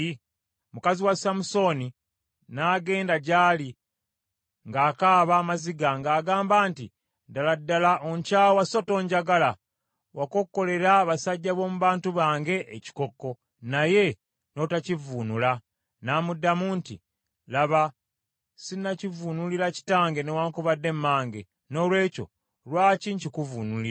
Mukazi wa Samusooni n’agenda gy’ali ng’akaaba amaziga, ng’agamba nti, “Ddala ddala onkyawa so tonjagala. Wakokkolera abasajja b’omu bantu bange ekikokko, naye n’otakivvuunula.” N’amuddamu nti, “Laba sinnakivuunulira kitange newaakubadde mmange, noolwekyo lwaki nkikuvuunulira?”